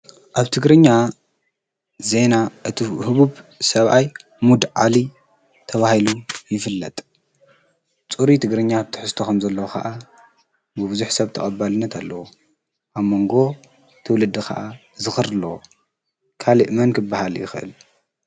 ኣብ ትግርኛ ዜና እቲ ህቡብ ሰብኣይ ሙዲ ዓሊ ተባሂሉ ይፍለጥ። ፅሩይ ትግርኛ ትሕዝቶ ከምዘለዎ ከዓ ብቡዙሕ ሰብ ተቀባልነት ኣለዎ። ኣብ መንጎ ትውልዲ ከዓ ዝክሪ ኣለዎ ። ካሊእ መን ክበሃል ይክእል?